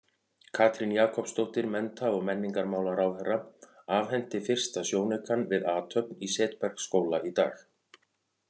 Katrín Jakobsdóttir, mennta- og menningarmálaráðherra, afhenti fyrsta sjónaukann við athöfn í Setbergsskóla í dag.